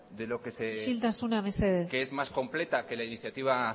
isiltasuna mesedez que es más completa que la iniciativa